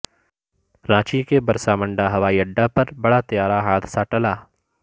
رانچی کے برسا منڈا ہوائی اڈہ پر بڑا طیارہ حادثہ ٹلا